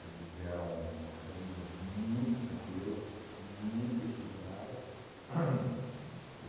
eram uma família muito tranquila, muito equilibrada. Ham